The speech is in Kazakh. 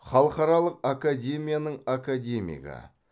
халықаралық академияның академигі